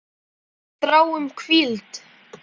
Við þráum hvíld.